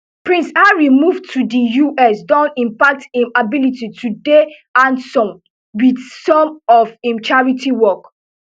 prince harry move to di us don impact im ability to dey handson wit some of im charity work